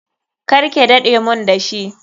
Karke dade mun dashi.